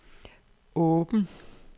åben